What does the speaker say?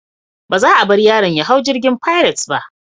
Ba za a bar yaron ya hau jirgin Pirates ba.